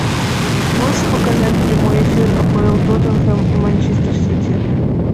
можешь показать прямой эфир апл тоттенхэм и манчестер сити